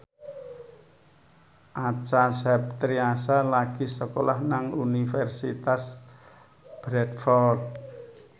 Acha Septriasa lagi sekolah nang Universitas Bradford